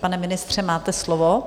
Pane ministře, máte slovo.